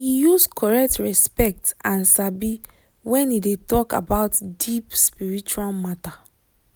e use correct respect and sabi when e dey talk about deep spiritual matter.